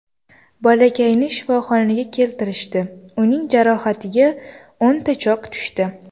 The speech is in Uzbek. Bolakayni shifoxonaga keltirishdi, uning jarohatiga o‘nta chok tushdi.